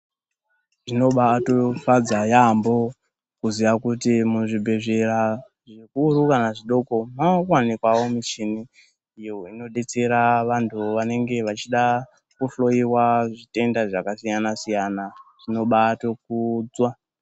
Zvinobaatofadza yaamho kuziya kuti muzvibhedhlera zvikuru kana zvidoko, makuwanikwawo mishini iyo inodetsera vantu vanenge vachida kuhloyiwa zvitenda zvakasiyana-siyana, zvinobatokudzwa.